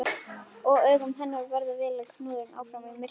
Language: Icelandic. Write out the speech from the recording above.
Og augu hennar verða vélar knúnar áfram af myrkrinu.